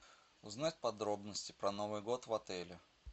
узнать подробности про новый год в отеле